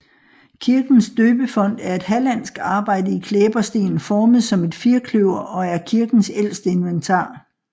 Kirkens døbefont er et hallandsk arbejde i klæbersten formet som et firkløver og er kirkens ældste inventar